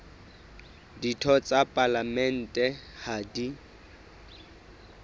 ditho tsa palamente ha di